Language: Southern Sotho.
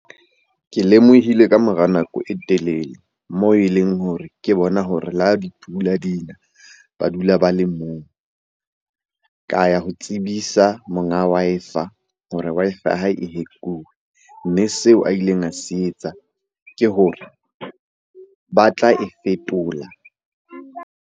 Ke lemohile kamora nako e telele mo e leng hore ke bona hore le ha dipula di na, ba dula ba le moo. Ka ya ho tsebisa sa monga Wi-Fi hore Wi-Fi hae e hack-uwe. Mme seo a ileng a se etsa ke hore ba tla e fetola.